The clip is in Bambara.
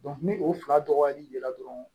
ni o fila dɔgɔyali la dɔrɔn